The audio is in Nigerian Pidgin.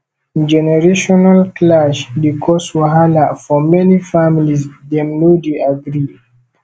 generational clash dey cause wahala for many families dem no dey agree